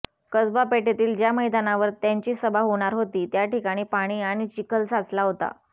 कसबा पेठेतील ज्या मैदानावर त्यांची सभा होणार होती त्या ठिकाणी पाणी आणि चिखल साचला होता